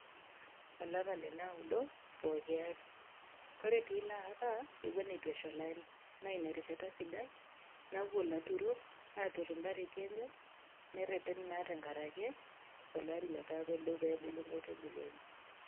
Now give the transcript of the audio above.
Olapa le naudo pooki ari. Kore te ilo apa naa ina erishata sidai napuo ilaturok aatur impareti enye nereten naa enkarake olari letaa pedou pee ebulu inkaitubulu enye.